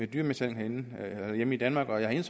dyremishandling herhjemme i danmark og jeg